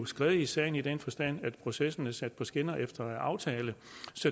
skred i sagen i den forstand at processen er sat på skinner efter aftale